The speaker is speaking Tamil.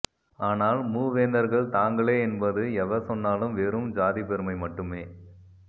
ஆனால் மூவேந்தர்கள் தாங்களே என்பது எவர் சொன்னாலும் வெறும் சாதிப்பெருமை மட்டுமே